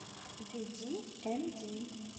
видиэмди